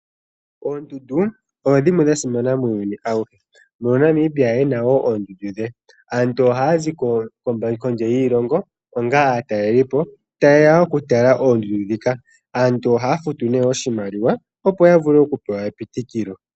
Oondundu odho dhimwe dha simana muuyuni auhe. Mono Namibia e na wo oondundu dhe. Aantu ohaya zi kondje yiilongo onga aatalelipo taye ya okutala oondundu ndhika. Aantu ohaya futu nee oshimaliwa, opo ya vule okupewa epitikilo.